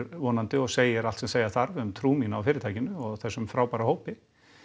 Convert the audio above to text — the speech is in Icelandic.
vonandi og segir allt sem segja þarf um trú mína á fyrirtækinu og þessum frábæra hópi